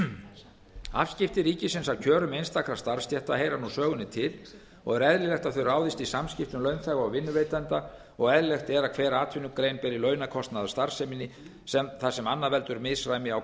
launþega afskipti ríkisins af kjörum einstakra starfsstétta heyra nú sögunni til og er eðlilegt að þau ráðist í samskiptum launþega og vinnuveitenda og eðlilegt er að hver atvinnugrein beri launakostnað af starfseminni þar sem annað veldur misræmi á